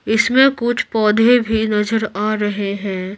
इसमें कुछ पौधे भी नजर आ रहे हैं।